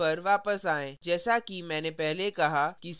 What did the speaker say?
अपने program पर वापस आएँ